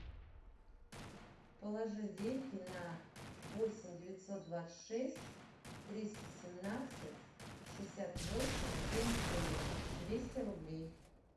положи деньги на восемь девятьсот двадцать шесть триста семнадцать шестьдесят восемь семьдесят три двести рублей